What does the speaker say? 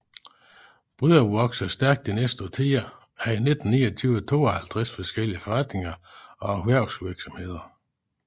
Bryrup voksede stærkt de næste årtier og havde i 1929 52 forskellige forretninger og erhvervsvirksomheder